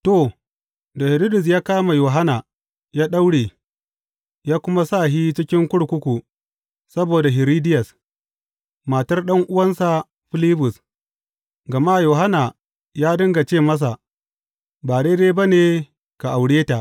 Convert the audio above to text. To, dā Hiridus ya kama Yohanna ya daure, ya kuma sa shi cikin kurkuku saboda Hiridiyas, matar ɗan’uwansa Filibus, gama Yohanna ya dinga ce masa, Ba daidai ba ne ka aure ta.